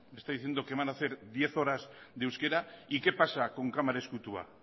me está diciendo que van a hacer diez horas de euskera y qué pasa con kamara ezkutua